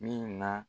Min na